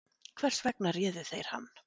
Hvers vegna réðu þeir hann